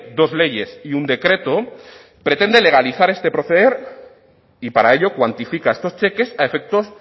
dos leyes y un decreto pretende legalizar este proceder y para ello cuantifica estos cheques a efectos